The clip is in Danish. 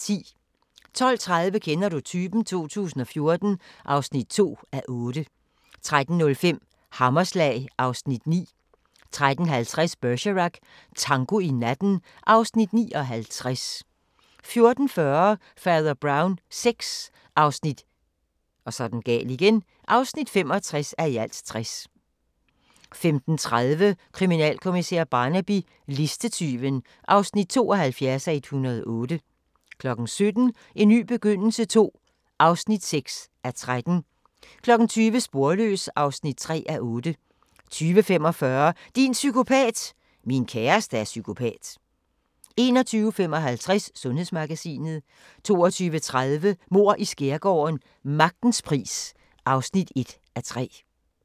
12:30: Kender du typen? 2014 (2:8) 13:05: Hammerslag (Afs. 9) 13:50: Bergerac: Tango i natten (Afs. 59) 14:40: Fader Brown VI (65:60) 15:30: Kriminalkommissær Barnaby: Listetyven (72:108) 17:00: En ny begyndelse II (6:13) 20:00: Sporløs (3:8) 20:45: Din psykopat! – Min kæreste er psykopat 21:55: Sundhedsmagasinet 22:30: Mord i Skærgården: Magtens pris (1:3)